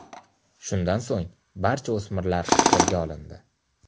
Shundan so‘ng barcha o‘smirlar qo‘lga olindi.